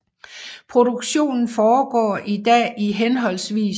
Produktionen foregår i dag i hhv